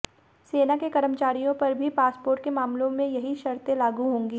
सेना के कर्मचारियों पर भी पासपोर्ट के मामलों में यही शर्तें लागू होंगी